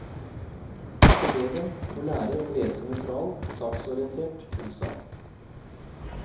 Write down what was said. Eleven må lære å lese nøytral, saksorientert prosa.